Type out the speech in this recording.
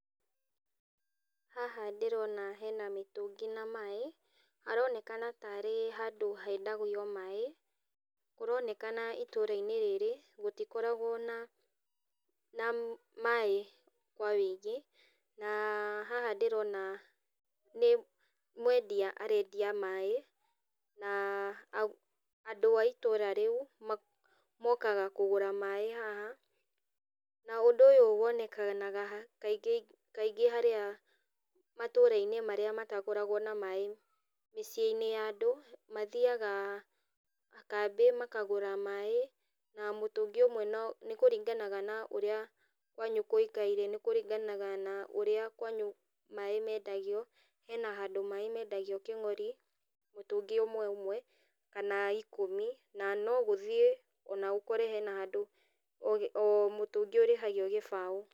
Haha ndĩrona hena mĩtũngi na maĩ, aronekana tarĩ handũ hendagio maĩ, kũronekana itũrainĩ rĩrĩ, gũtikoragwo na na maĩ kwa wĩingĩ, na haha ndĩrona nĩ mwendia arendia maĩ, na a andũ a itũra rĩu, ma mokaga kũgũra maĩ haha, na ũndũ ũyũ wonekaga ha kaingĩ kaingĩ harĩa matũrainĩ marĩa matakoragwo na maĩ mĩciĩinĩ ya andũ, mathiaga kambĩ makagũra maĩ, na mũtũngi ũmwe no nĩkũringanaga na ũrĩa kwanyu gũikare, nĩkũringanaga na ũrĩa kwanyu maĩ mendagio, hena handũ maĩ mendagio kĩng'ori mũtũngi ũmwe ũmwe, kana ikũmi, na gũthiĩ ona ũkore hena handũ ũgĩ o mũtũngi ũrĩhagio gĩbaũ.